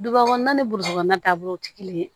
Duba kɔnɔna ni taabolo tɛ kelen ye